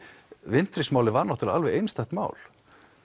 Wintris málið var náttúrulega alveg einstakt mál